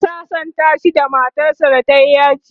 ana sasanta shi da matar sa da tayi yaji